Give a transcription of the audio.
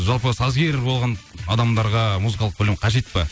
жалпы сазгер болған адамдарға музыкалық білім қажет пе